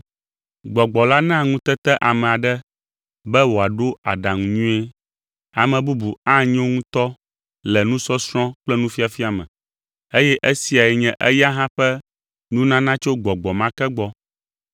Gbɔgbɔ la naa ŋutete ame aɖe be wòaɖo aɖaŋu nyuie. Ame bubu anyo ŋutɔ le nusɔsrɔ̃ kple nufiafia me, eye esiae nye eya hã ƒe nunana tso Gbɔgbɔ ma ke gbɔ.